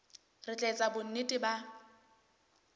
re tla etsa bonnete ba